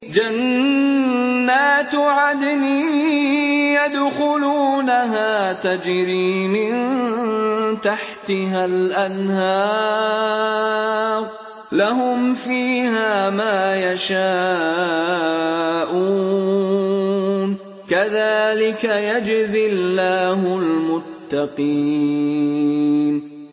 جَنَّاتُ عَدْنٍ يَدْخُلُونَهَا تَجْرِي مِن تَحْتِهَا الْأَنْهَارُ ۖ لَهُمْ فِيهَا مَا يَشَاءُونَ ۚ كَذَٰلِكَ يَجْزِي اللَّهُ الْمُتَّقِينَ